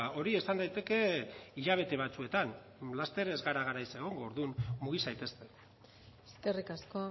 hori esan daiteke hilabete batzuetan laster ez gara garaiz egongo orduan mugi zaitezte eskerrik asko